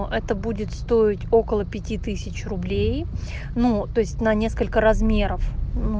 это будет стоить около пяти тысяч рублей ну то есть на несколько размеров ну